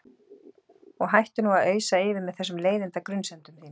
Og hættu nú að ausa yfir mig þessum leiðinda grunsemdum þínum.